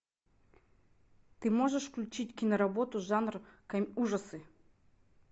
ты можешь включить киноработу жанр ужасы